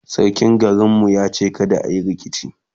sarkin garin mu ya ce kada ayi rikici